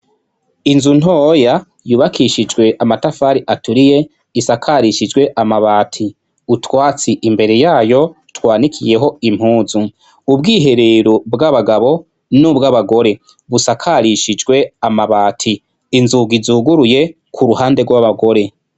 Inzu ntoya yubakishijwe amatafari aturiye ,risakarishijwe amabati , utwatsi imbere yayo, twanikiyeho impuzu, ubwiherero bw'abagabo ,nubw'abagore busakarishijwe amabati, inzugi zuguruye k'uruhande rw'abagore.